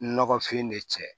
Nɔgɔfin ne cɛ